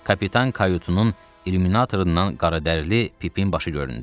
Kapitan kayutunun illuminatorundan qaradərili Pipin başı göründü.